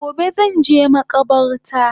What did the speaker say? Gobe zanje makabarta